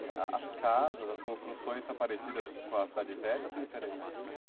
E a as casas, as construções são parecidas com a cidade velha ou são diferentes?